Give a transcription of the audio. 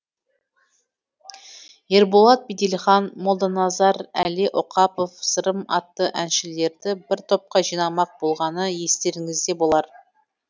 ерболат беделхан молданазар әли оқапов сырым атты әншілерді бір топқа жинамақ болғаны естеріңізде болар